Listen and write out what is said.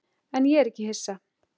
En ég er ekki hissa.